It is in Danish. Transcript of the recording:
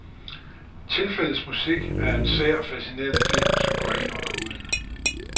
Tilfældets musik er en sær, fascinerende film, som går ind under huden.